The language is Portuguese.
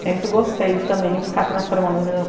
Sempre gostei de também ficar transformando as minhas